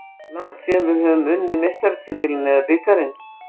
Langt síðan við höfðum unnið meistaratitilinn eða bikarinn.